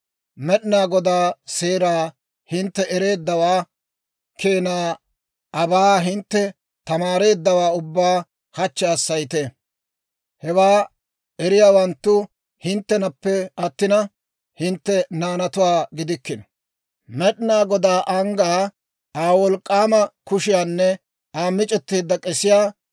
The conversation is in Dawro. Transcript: Med'inaa Godaa seeraa hintte ereeddawaa keenaa aabaa hintte tamaareeddawaa ubbaa hachchi hassayite; hewaa eriyaawanttu hinttenappe attina, hintte naanatuwaa gidikkino; Med'inaa Godaa anggaa, Aa wolk'k'aama kushiyaanne Aa mic'etteedda k'esiyaa,